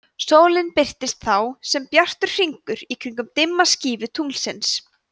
sólin birtist þá sem bjartur hringur í kringum dimma skífu tunglsins